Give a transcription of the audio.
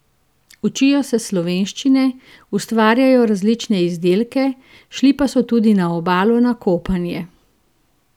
Učijo se slovenščine, ustvarjajo različne izdelke, šli pa so tudi na Obalo na kopanje.